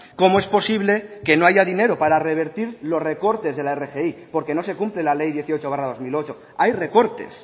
cómo es posible que no haya dinero para revertir los recortes de la rgi porque no se cumple la ley dieciocho barra dos mil ocho hay recortes